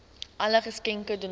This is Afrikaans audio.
alle geskenke donasies